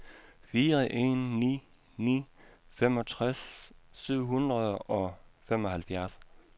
fire en ni ni femogtres syv hundrede og femoghalvfjerds